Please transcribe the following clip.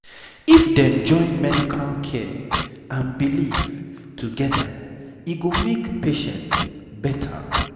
if dem join medical care and belief together e go make patient better